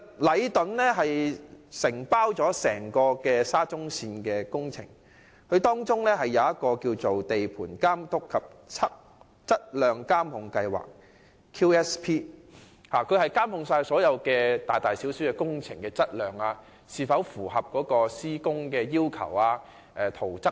禮頓承包整個沙中線工程，訂立了地盤監督及質量監控計劃，旨在監控各項大小工程的質量、施工規格及圖則等。